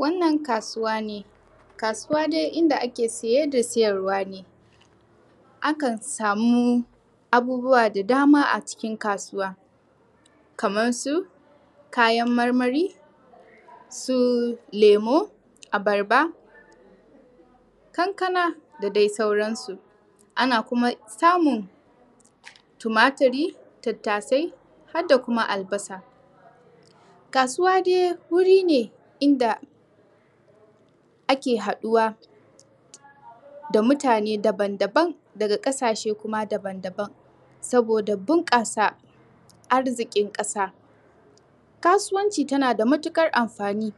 Wannan kasuwa ne, kasuwa dai inda ake saye da sayarwa ne akan samu abubuwa da dama da ake sayar a kasuwa kamar su, kayan marmari su remu, abarba, kankana da dai sauransu ana samun kuma tumaturi har da kuma albasa. Kasuwa dai wuri ne da ake haɗawa da mutane daban-daban daga ƙasashe kuma daban-daban saboda bunkasa arzikin ƙasa. Kasuwanci yana da matuƙar amfani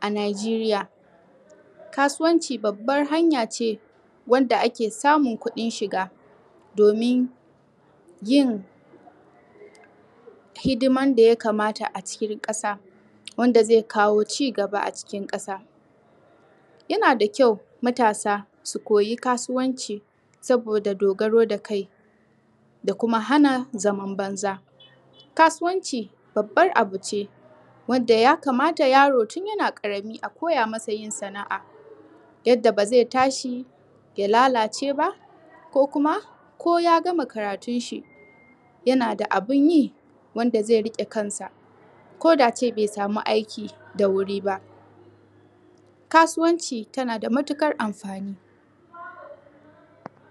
a Nijeriya, kasuwanci babbar hanya ce ta wanda ake amun kudin shiga domin yin hidimar da ya kamata a ƙasa wanda zai kawo ci gaba a cikin ƙasa. Yana da ƙyau matasa su koya kasuwacin Saboda dogaro da kai da kuma hana zaman banza. Kasuwanci babbar abu ce wanda ya kamata yaro tun yana karami a koya masa yin sana'a yadda ba zai tashi ya lalace ko ya gama karatun shi yana da abun yi wanda zai riƙe kansa ko da kuma bai sama aiki da wuri ba .kasuwan tana da matuƙar amfani.